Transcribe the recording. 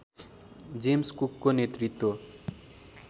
James कुकको नेतृत्व